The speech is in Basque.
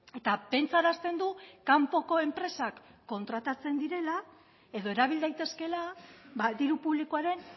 eta pentsarazten du kanpoko enpresak kontratatzen direla edo erabil daitezkeela diru publikoaren